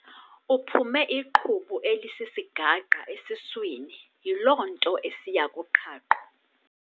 Uphume iqhubu elisisigaqa esiswini yiloo nto esiya kuqhaqho.